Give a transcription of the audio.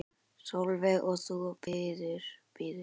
Sólveig: Og þú bíður?